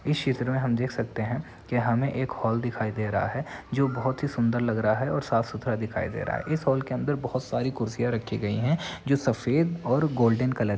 इस चित्र में हम देख सकते है कि हमें एक हॉल दिखाई दे रहा है जो बहुत ही सुन्दर लग रहा है और साफ़ सुथरा दिखाई दे रहा है। इस हॉल के अंदर बहुत सारी कुर्सियां रखी गई है जो सफ़ेद और गोल्डन कलर --